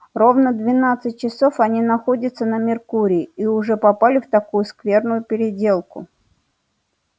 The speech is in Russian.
ровно двенадцать часов они находятся на меркурии и уже попали в такую скверную переделку